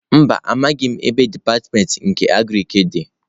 Mba, amaghim ebe dipatịmentị nke Agriki di.